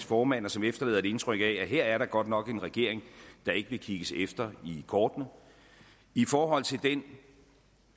formand og som efterlader et indtryk af at her er der godt nok en regering der ikke vil kigges i kortene i forhold til den